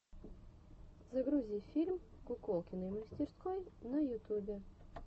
загрузи фильм куколкиной мастерской на ютубе